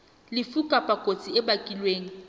lefu kapa kotsi e bakilweng